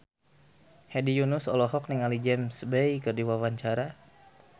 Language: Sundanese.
Hedi Yunus olohok ningali James Bay keur diwawancara